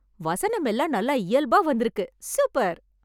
வசனமெல்லாம் நல்லா இயல்பா வந்திருக்கு. சூப்பர்.